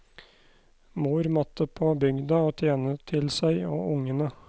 Mor måtte på bygda og tjene til seg og ungene.